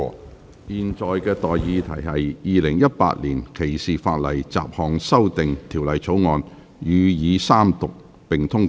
我現在向各位提出的待議議題是：《2018年歧視法例條例草案》予以三讀並通過。